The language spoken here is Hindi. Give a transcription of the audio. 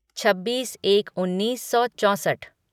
छब्बीस एक उन्नीस सौ चौंसठ